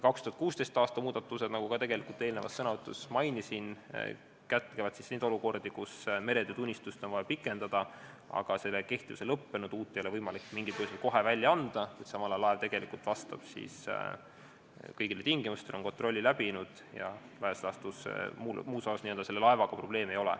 2016. aasta muudatused, nagu ma eelnevas sõnavõtus mainisin, kätkevad neid olukordi, kus meretöötunnistust on vaja pikendada, aga selle kehtivuse lõppedes ei ole võimalik uut tunnistust mingil põhjusel kohe välja anda, kuid samal ajal vastab laev kõigile tingimustele, on kontrolli läbinud ja laias laastus muus osas selle laevaga probleemi ei ole.